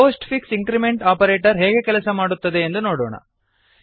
post fix increment operator ಹೇಗೆ ಕೆಲಸ ಮಾಡುತ್ತದೆ ಎಂದು ನೋಡೋಣ